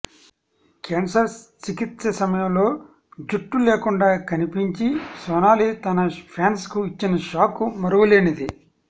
cancer చికిత్స సమయంలో జట్టు లేకుండా కనిపించి సొనాలి తన ఫ్యాన్స్కు ఇచ్చిన షాక్ మరువలేనిది